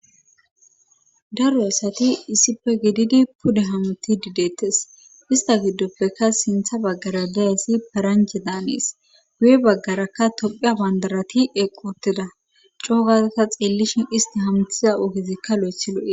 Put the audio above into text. daroy asati issife gididi pude hamuti didettes ista giddoppeka sintha baggara dayyssi paranje daanees guye baggarakka toqia bandarati eqoteda coogaaka xiellishin isti hamthiza oogezikka lo7ethi lo7e